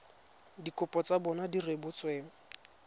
dikopo tsa bona di rebotsweng